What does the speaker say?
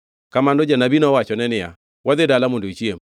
Kamano janabi nowachone niya, “Wadhi dala mondo ichiem.”